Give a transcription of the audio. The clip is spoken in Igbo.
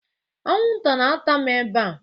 Anwụnta na-ata m ebe a.